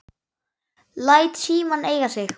Læt símann eiga sig.